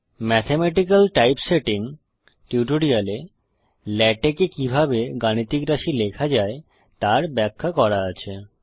mathematical typesetting টিউটোরিয়ালে LaTeX এ কিভাবে গাণিতিক রাশি লেখা যায় তার ব্যাখ্যা করা আছে